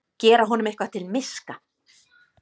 Gera honum eitthvað til miska!